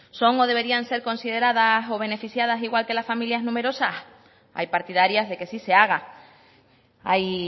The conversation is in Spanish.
son o deberían ser consideradas o beneficiadas igual que las familias numerosas hay partidarias de que sí se haga hay